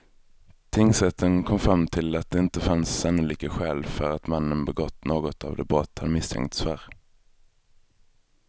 Tingsrätten kom fram till att det inte fanns sannolika skäl för att mannen begått något av de brott han misstänkts för.